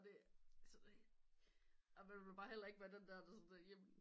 Og man vil bare heller ikke være den der der sådan jamen